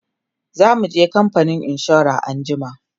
zamuje kamfanin insura anjima